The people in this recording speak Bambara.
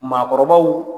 Maakɔrɔbaw